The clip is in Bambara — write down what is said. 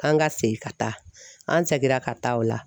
K'an ka segin ka taa an seginna ka taa o la.